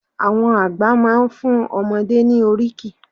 Àwọn àgbà máa fún ọmọdé ní oríkì.